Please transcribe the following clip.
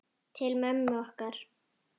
Til mömmu okkar.